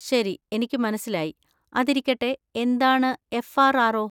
ശരി എനിക്ക് മനസ്സിലായി. അതിരിക്കട്ടെ, എന്താണ് എഫ്.ആര്‍.ആര്‍.ഒ?